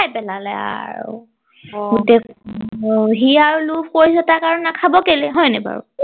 খাই পেলালে আৰু অ সি আৰু লোভ কৰিছে তাক আৰু নাখাব কেলে হয় নাই বাৰু